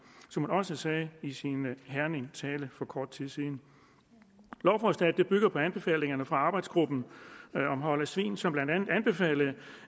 som hun også sagde i sin herningtale for kort tid siden lovforslaget bygger på anbefalingerne fra arbejdsgruppen om hold af svin som blandt andet anbefalede